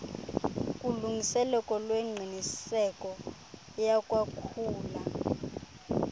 kulungiseleko lwengqiniseko yakwakhula